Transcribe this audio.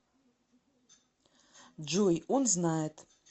джой он знает